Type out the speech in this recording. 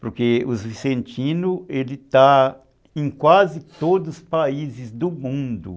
Porque os vicentinos, ele está em quase todos os países do mundo.